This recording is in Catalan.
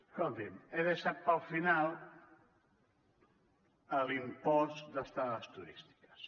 escolti’m he deixat per al final l’impost d’estades turístiques